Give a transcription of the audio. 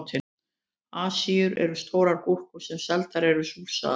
Asíur eru stórar gúrkur sem seldar eru súrsaðar.